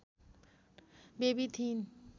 baby थिइन्